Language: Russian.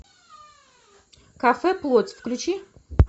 кафе плоть включи